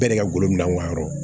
Bɛɛ n'i ka bolo minɛ u ma yɔrɔ